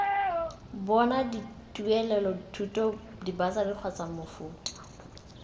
bona dituelelothuto dibasari kgotsa mofuta